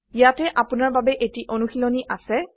ইয়াতে আপোনাৰ বাবে এটি অনুশীলনী আছে